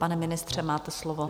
Pane ministře, máte slovo.